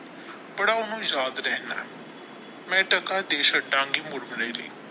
ਬੜਾ ਉਹਨੂੰ ਯਾਦ ਰਹਿਣਾ ਮੈਂ ਟਕਾ ਦੇ ਮੁਰਮਰੇ ਲਈ।